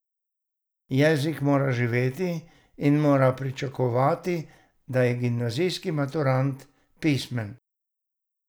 Jezik mora živeti in moramo pričakovati, da je gimnazijski maturant pismen.